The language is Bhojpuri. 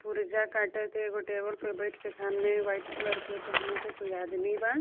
पुर्जा काटे के एगो टेबल पर बैठ के सामने व्हाइट कलर के पहिन के कोई आदमी बा.